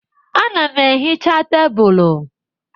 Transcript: Ana m ehicha tebụl.